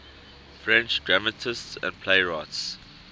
french dramatists and playwrights